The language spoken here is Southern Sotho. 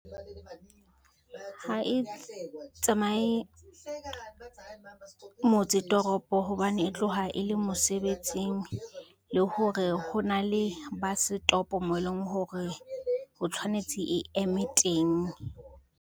Ha e tsamaye, motse toropo hobane e tloha e le mosebetsing le hore ho na le bus stop moo e leng hore ho tshwanetse e eme teng.